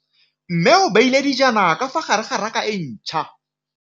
Mmê o beile dijana ka fa gare ga raka e ntšha.